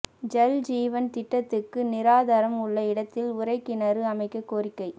ஜல் ஜீவன் திட்டத்துக்கு நீராதாரம் உள்ள இடத்தில் உறைகிணறு அமைக்கக் கோரிக்கை